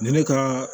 Ni ne ka